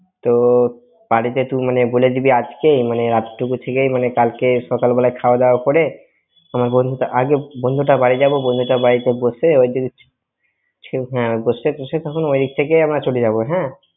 তো বাড়িতে তুই মানে বলে দিবি আজকে মানে রাত টুকু থেকে মানে কালকে সকালবেলা খাওয়া দাওয়া করে আমার বন্ধুর~ আগে বন্ধুটার বাড়ি যাব, বন্ধুটার বাড়িতে বসে বসে টসে তখন ওই থেকেই আমরা চলে যাব হ্যাঁ।